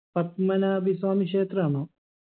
Padmanabhaswamy ക്ഷേത്രാണോ